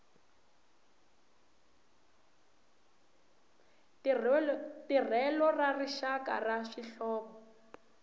tirhelo ra rixaka ra swihlovo